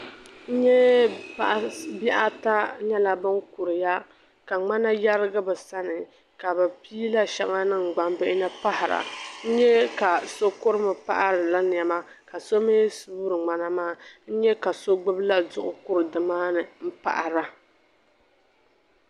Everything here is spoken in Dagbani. N-nyɛ bihi ata nyɛla bin' kuriya ka ŋmana yɛrigi bi sani ka bi pii la shɛŋa niŋ gbambihi ni paɣi-ra. N-nyɛ ka so kuri mi paɣi-ri la niɛma ka so mi suuri ŋmana maa. N-nyɛ ka so gbibi la duɣu kuri di maa ni m-paɣi-ra